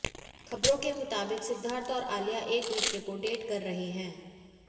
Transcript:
ख़बरों के मुताबिक सिद्धार्थ और आलिया एक दुसरे को डेट कर रहें हैं